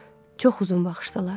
Çox uzun vaxt baxışdılar.